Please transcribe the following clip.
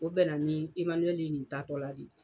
O bɛna na ni Emanuyɛli nin taatɔ la de.